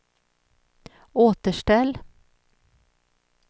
återställ